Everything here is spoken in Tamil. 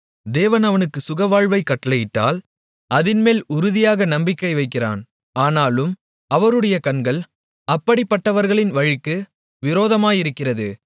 தேவன் அவனுக்குச் சுகவாழ்வைக் கட்டளையிட்டால் அதின்மேல் உறுதியாக நம்பிக்கை வைக்கிறான் ஆனாலும் அவருடைய கண்கள் அப்படிப்பட்டவர்களின் வழிகளுக்கு விரோதமாயிருக்கிறது